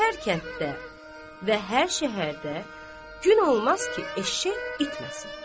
Hər kənddə və hər şəhərdə gün olmaz ki, eşşək itməsin.